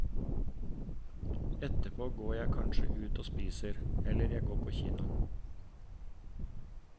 Etterpå går jeg kanskje ut og spiser, eller jeg går på kino.